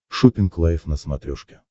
шоппинг лайф на смотрешке